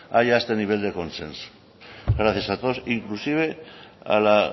haya este nivel de consenso gracias a todos inclusive a la